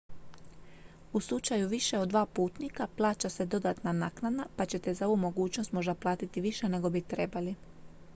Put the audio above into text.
u slučaju više od 2 putnika plaća se dodatna naknada pa ćete za ovu mogućnost možda platiti više nego bi trebali